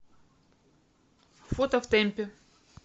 фото в темпе